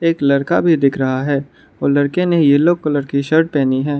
एक लड़का भी दिख रहा है और लड़के ने येलो कलर की शर्ट पहनी है।